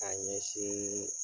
K'a ɲɛsiin